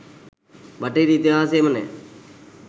බටහිර ඉතිහාසයේම නෑ.